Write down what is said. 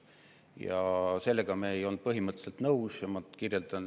Ja sellega me ei olnud põhimõtteliselt nõus.